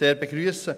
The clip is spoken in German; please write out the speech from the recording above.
eine Verschärfung ausdrücklich begrüssen.